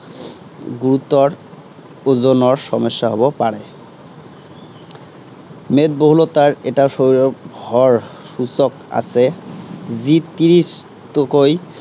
গুৰুতৰ, ওজনৰ সমস্যা হব পাৰে। মেদবহুলতাৰ এটা সময়ৰ সূচক আছে, যি ত্ৰিশতকৈ